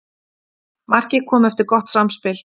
Markið kom eftir gott samspil.